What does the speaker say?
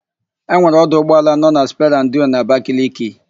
Enwere ọdụ ụgbọala nọ na sperandio n'Abakaliki.